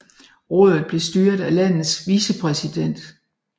Rådet blev styret af landets vicepræsident